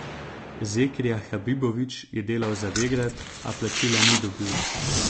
Zekrija Habibović je delal za Vegrad, a plačila ni dobil.